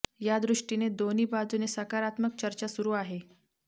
या दृष्टीने दोन्ही बाजूने सकारात्मक चर्चा सुरू आहे